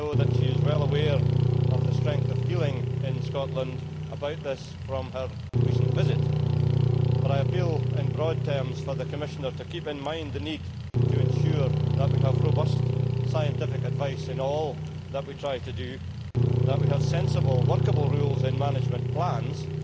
I know that she is well aware of the strength of feeling in Scotland about this from her recent visit, but I appeal in broad terms for the Commissioner to keep in mind the need to ensure that we have robust scientific advice in all that we try to do, that we have sensible, workable rules in management plans which